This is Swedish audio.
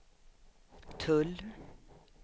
tull